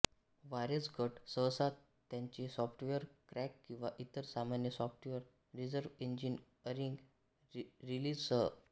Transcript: warez गट सहसा त्यांचे सॉफ्टवेअर क्रॅक किंवा इतर सामान्य सॉफ्टवेअर रिव्हर्सइंजिनीअरिंग रिलीझसह